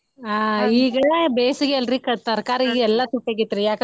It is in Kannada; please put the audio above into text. ಈಗ ಬೇಸಿಗೆ ಅಲ್ರೀ ತರಕಾರಿ ಎಲ್ಲಾ ತುಟ್ಟಿ ಅಗೇತ್ರಿ ಯಾಕ ಅಂದ್ರ.